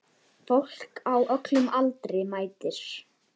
Fólk á öllum aldri mætir.